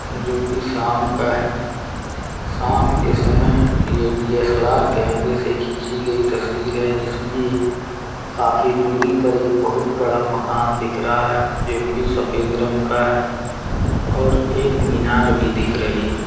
जो कि शाम का है शाम के समय यह डी_एस_एल_आर कैमरे से खींची गई तस्वीर है जिसमें एक काफी दूरी पर एक बहुत बड़ा मकान दिख रहा है जो कि सफेद रंग का है और एक मीनार भी दिख रही है।